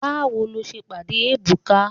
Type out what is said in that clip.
Báwo lo ṣe pàdé Ebuka?